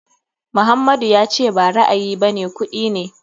Muhammadu ya ce ba ra'ayi bane kuɗi ne.